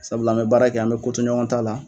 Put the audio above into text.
Sabula an be baara kɛ an be kotoɲɔgɔn t'a la